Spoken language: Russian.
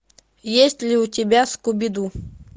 есть ли у тебя скуби ду